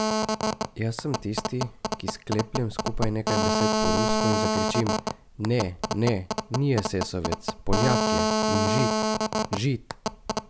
Jaz sem tisti, ki sklepljem skupaj nekaj besed po rusko in zakričim ne, ne, ni esesovec, Poljak je, in Žid, Žid!